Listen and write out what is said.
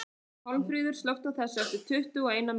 Pálmfríður, slökktu á þessu eftir tuttugu og eina mínútur.